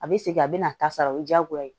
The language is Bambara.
A bɛ segin a bɛ na a ta sara o ye diyagoya ye